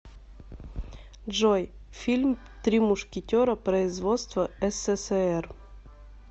джой фильм три мушкетера производство эс се се эр